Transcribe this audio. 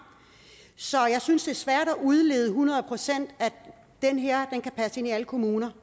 så jeg synes det er svært at udlede hundrede procent at den her kan passe ind i alle kommuner